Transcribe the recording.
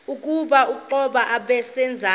oku kuquka nabeendaba